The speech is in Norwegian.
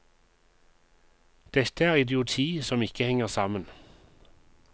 Dette er idioti som ikke henger sammen.